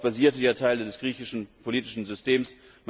Darauf basierten ja Teile des griechischen politischen Systems.